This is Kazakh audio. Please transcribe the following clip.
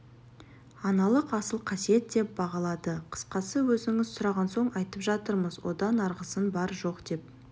аналық асыл қасиет деп бағалады қысқасы өзіңіз сұраған соң айтып жатырмыз одан арғысын бар жоқ деп